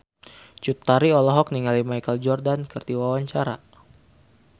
Cut Tari olohok ningali Michael Jordan keur diwawancara